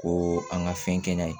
Ko an ka fɛn kɛ n'a ye